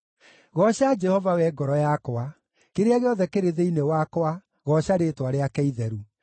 Gooca Jehova, wee ngoro yakwa; kĩrĩa gĩothe kĩrĩ thĩinĩ wakwa, gooca rĩĩtwa rĩake itheru.